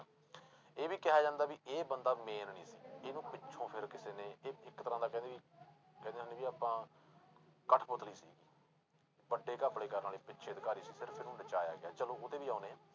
ਇਹ ਵੀ ਕਿਹਾ ਜਾਂਦਾ ਵੀ ਇਹ ਬੰਦਾ main ਨੀ ਸੀ, ਇਹਨੂੰ ਪਿੱਛੋਂ ਫਿਰ ਕਿਸੇ ਨੇ ਇ~ ਇੱਕ ਤਰ੍ਹਾਂ ਦਾ ਕਹਿੰਦੇ ਵੀ ਕਹਿੰਦੇ ਵੀ ਆਪਾਂ ਕਠਪੁਤਲੀ ਸੀਗੀ ਵੱਡੇ ਘੱਪਲੇ ਕਰਨ ਵਾਲੇ ਪਿੱਛੇ ਅਧਿਕਾਰੀ ਸੀ ਫਿਰ ਇਸਨੂੰ ਬਚਾਇਆ ਗਿਆ, ਚਲੋ ਉਹਤੇ ਵੀ ਆਉਂਦੇ ਹਾਂ,